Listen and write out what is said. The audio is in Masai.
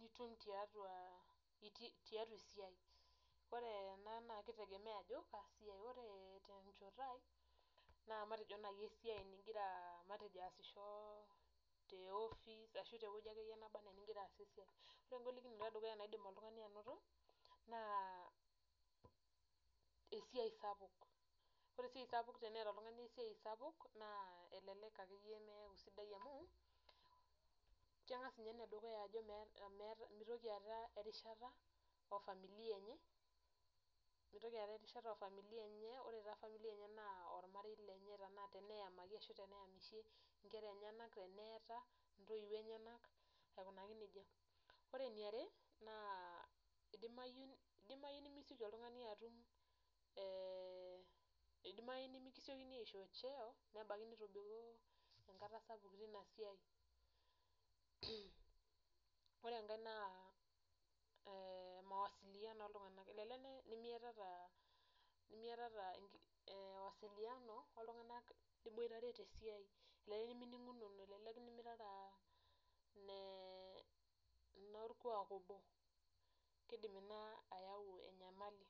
nitum tiatua esiai, naa keitengemea ajo kaa siai ,ore tenchoto ai naa matejo naaji esiai ningira aasisho te office ashua teweji akeyie neba enaa eningira aaasie esiai, ore engolikinoto edukuya nidim oltungani anoto, naa esiai sapuk ,ore esiai sapuk teneeta oltungani esiai sapuk naa elelek akeyie neeku sidai amu kegas ninye enedukuya aku meeta erishata ofamila enye ,ormarei lenye teneyamaki eshu teneyamishe ,inkera enyanak teneeta intoiwuo enyanak aikunaki nejia ,ore eni are naa eidimayu nemisioki oltungani atumeeh eidimayu nemikisioni aisho cheo nebaiki nitobiko enakata sapuk teinasiai ,ore enkae naa mawasilano oltunganak ,elelek nemiata mawasilano oltunganak liboitare tesiai elelek neminingunono ,elelek nemirara norkuak obo ,keidim ina ayau enyamali.